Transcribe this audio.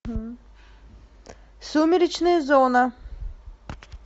сумеречная зона